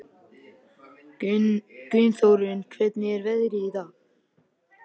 Gunnþórunn, hvernig er veðrið í dag?